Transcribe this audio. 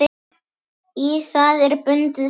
Í það er bundið snæri.